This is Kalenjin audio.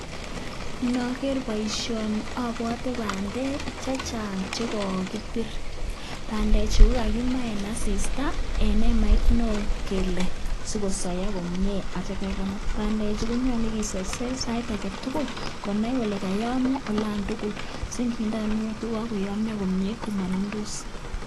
Ndoger boisioni obwote bandek che chang che kogibir. Bandechu kokagima en asista en emait neo kele si kosoiyo komye asikityo kegonor. Bandechu konyolu kiserser sait age tugul konai kole koyomyo olon tugul asi ngindo guniet ko kogoyomyo komye komonundos.